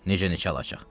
Necə neçə alacaq?